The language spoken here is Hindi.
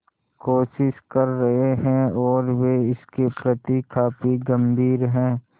कोशिश कर रहे हैं और वे इसके प्रति काफी गंभीर हैं